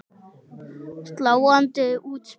Sláandi útspil.